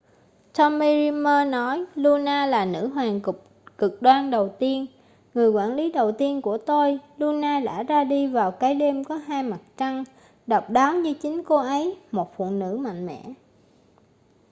tommy dreamer nói luna là nữ hoàng cực đoan đầu tiên người quản lý đầu tiên của tôi luna đã ra đi vào cái đêm có hai mặt trăng độc đáo như chính cô ấy một phụ nữ mạnh mẽ